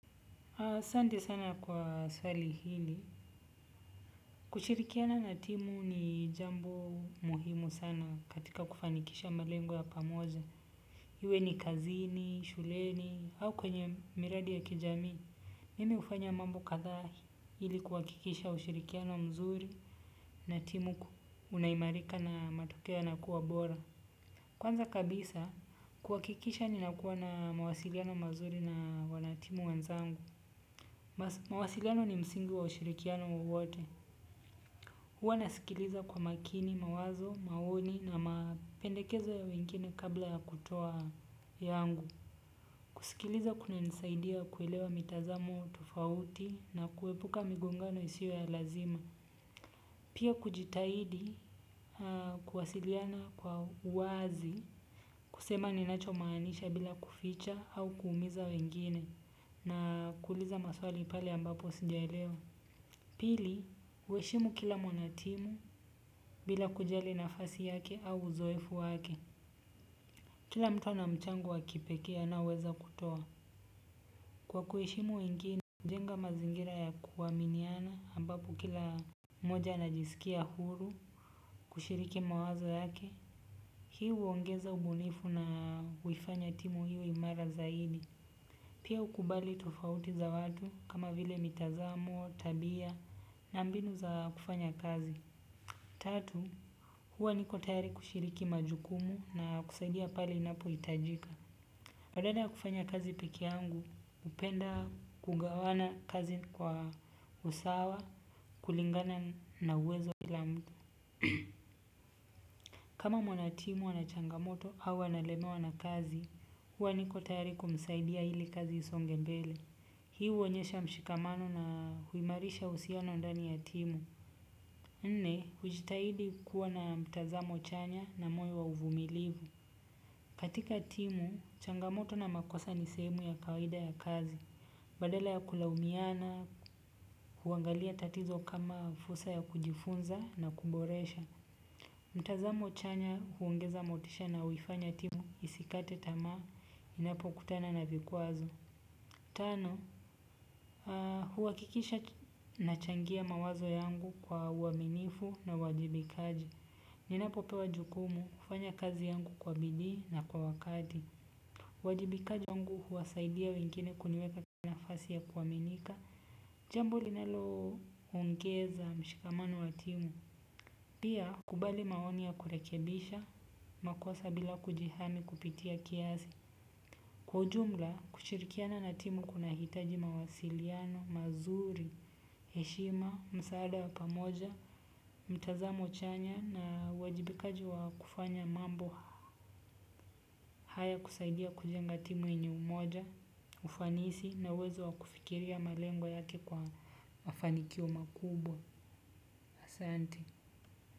Asanti sana kwa swali hili. Kushirikiana na timu ni jambo muhimu sana katika kufanikisha malengo ya pamoja. Iwe ni kazini, shuleni, au kwenye miradi ya kijamii. Mimi hufanya mambo kadhaa ili kuhakikisha ushirikiano mzuri na timu kunaimarika na matokea yanakuwa bora. Kwanza kabisa kuhakikisha ninakuwa na mawasiliano mazuri na wanatimu wanzangu. Mawasiliano ni msingi wa ushirikiano wowote huwa nasikiliza kwa makini, mawazo, maoni na mapendekezo ya wengine kabla ya kutoa yangu. Kusikiliza kunanisaidia kuelewa mitazamo tofauti na kuepuka migongano isio ya lazima. Pia kujitahidi kuwasiliana kwa wazi. Kusema ninacho maanisha bila kuficha au kuumiza wengine na kuuliza maswali pale ambapo sijaelewa. Pili, kuheshimu kila mwanatimu bila kujali nafasi yake au uzoefu wake. Kila mtu ana mchango wa kipekee anaoweza kutoa. Kwa kuheshimu wengine, hujenga mazingira ya kuaminiana ambapo kila moja anajisikia huru kushiriki mawazo yake. Hii huongeza ubunifu na huifanya timu iwe imara zaidi. Pia hukubali tofauti za watu kama vile mitazamo, tabia na mbinu za kufanya kazi. Tatu, huwa niko tayari kushiriki majukumu na kusaidia pale inapohitajika. Badala ya kufanya kazi pekee yhangu, upenda kugawana kazi kwa usawa, kulingana na uwezo wa kila mtu. Kama mwanatimu ana changamoto au analemewa na kazi huwa niko tayari kumsaidia ili kazi isonge mbele. Hii huonyesha mshikamano na huimarisha uhusiano ndani ya timu. Nne, hujitahidi kuwa na mtazamo chanya na moyo wa uvumilivu. Katika timu, changamoto na makosa ni sehemu ya kawaida ya kazi. Badala ya kulamiana, huangalia tatizo kama fursa ya kujifunza na kuboresha. Mtazamo chanya huongeza motisha na huifanya timu isikate tamaa, inapokutana na vikwazo. Tano, huhakikisha nachangia mawazo yangu kwa uaminifu na uwajibikaji. Ninapopewa jukumu hufanya kazi yangu kwa bidii na kwa wakati uwajibikaji wangu huwasaidia wengine kuniweka kwa nafasi ya kuaminika. Jambo linaloongeza mshikamano wa timu. Pia kubali maoni ya kurekebisha makosa bila kujihami kupitia kiasi kwa ujumla, kushirikiana na timu kunahitaji mawasiliano mazuri heshima, msaada wa pamoja, mtazamo chanya na uwajibikaji wa kufanya mambo haya kusaidia kujenga timu yenye umoja, ufanisi na uwezo wa kufikiria malengo yake kwa mafanikio makubwa asanti.